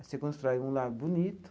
Você constrói um lar bonito.